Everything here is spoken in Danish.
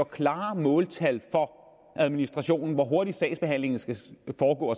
klare måltal for administrationen hvor hurtigt sagsbehandlingen skal foregå